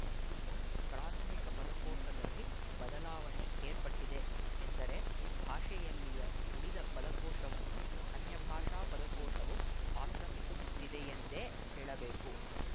ಪ್ರಾಥಮಿಕ ಪದಕೋಶದಲ್ಲಿ ಬದಲಾವಣೆ ಏರ್ಪಟ್ಟಿದೆ ಎಂದರೆ ಭಾಷೆಯಲ್ಲಿಯ ಉಳಿದ ಪದಕೋಶವನ್ನು ಅನ್ಯಭಾಷಾ ಪದಕೋಶವು ಆಕ್ರಮಿಸುತ್ತಿದೆಯೆಂದೇ ಹೇಳಬೇಕು